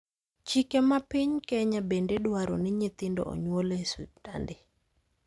Chike mapiny Kenya bende dwaro ni nyithindo onyuol e osiptande.